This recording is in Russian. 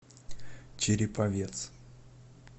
череповец